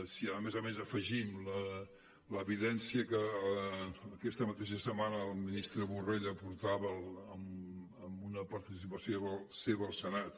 si a més a més afegim l’evidència que aquesta mateixa setmana al ministre borrell aportava en una participació seva al senat